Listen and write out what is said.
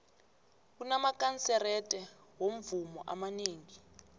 kunamakanserete womvumo amanengi